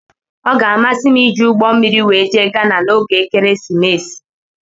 Ọ ga-amasị m iji ụgbọ mmiri wee jee ghana na ógè ekeresimesi.